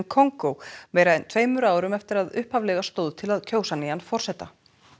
Kongó meira en tveimur árum eftir að upphaflega stóð til að kjósa nýjan forseta